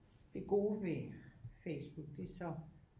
Det gode ved ved Facebook det er så